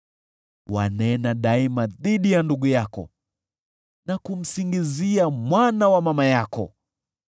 Wanena daima dhidi ya ndugu yako na kumsingizia mwana wa mama yako.